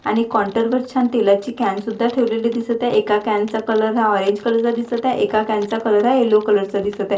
आणि कॉन्टर वर छान तेलाची कॅन सुद्धा ठेवलेली दिसत आहे एका कॅन चा कलर हा ऑरेंज कलर चा दिसत आहे एका कॅन चा कलर हा येलो कलर चा दिसत आहे.